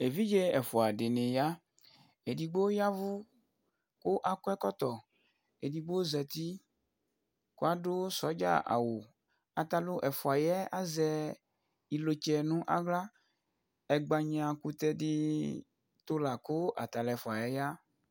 evidze ɛfuadɩ nɩ ya, edigbo y'ɛvʊ kʊ akɔ ɛkɔtɔ, edigbo zati kʊ adʊ sodza awʊ, atalʊ ɛfua yɛ azɛ ivlitsɛ nʊ aɣla, ɛgbanya'kʊtɛ dɩ ɛtʊ la kʊ atalʊ ɛfua yɛ ya